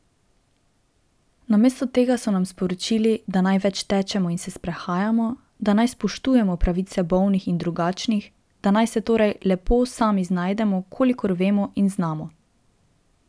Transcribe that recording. Namesto tega so nam sporočili, da naj več tečemo in se sprehajamo, da naj spoštujemo pravice bolnih in drugačnih, da naj se torej lepo sami znajdemo, kakor vemo in znamo.